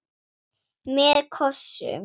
Með kossum.